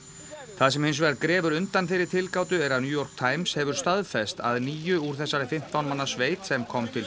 það sem hins vegar grefur undan þeirri tilgátu er að New York Times hefur staðfest að níu úr þessari fimmtán manna sveit sem kom til